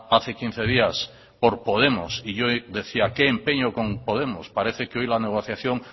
hace quince días por podemos y yo decía que empeño con podemos parece que hoy la negociación